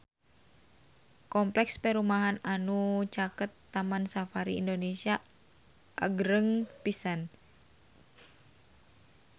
Kompleks perumahan anu caket Taman Safari Indonesia agreng pisan